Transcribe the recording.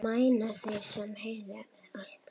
Mæna þeir, sem heyi hlaða.